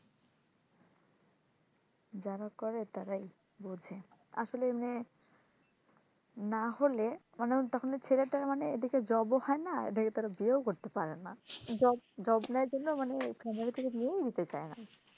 যারা করে তারাই বোঝে আসলে এমনে নাহলে মনে হয় তখন ছেলেটার মানে এদিকে job ও হয় না এদিকে তারা বিয়েও করতে পারে না job job নাই জন্য মানে মেয়ের বাড়ি থেকে বিয়েও দিতে চায় না,